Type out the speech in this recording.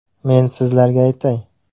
Men sizlarga aytay.